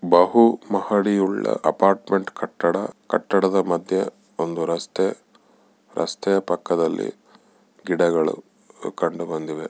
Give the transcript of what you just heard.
ಬಹುಮಹಡಿಯುಳ್ಳ apartment ಕಟ್ಟಡ ಕಟ್ಟಡದ ಮಧ್ಯೆ ಒಂದು ರಸ್ತೆ ರಸ್ತೆಯ ಪಕ್ಕದಲ್ಲಿ ಗಿಡಗಳು ಕಂಡು ಬಂದಿವೆ.